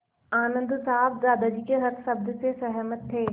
आनन्द साहब दादाजी के हर शब्द से सहमत थे